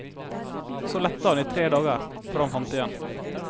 Så lette han i tre dager, før han fant det igjen.